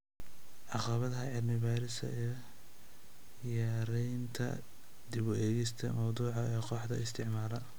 Caqabadaha cilmi baarista iyo yaraynta, dib u eegista mawduuca ee kooxaha isticmaala